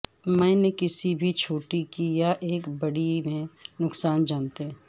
میں نے کسی بھی چھوٹے کی یا ایک بڑی میں نقصان جانتے